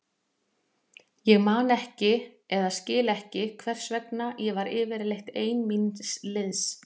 Ég man ekki eða skil ekki hvers vegna ég var yfirleitt ein míns liðs.